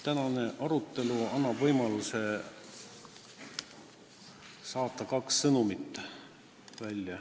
Tänane arutelu annab võimaluse saata välja kaks sõnumit.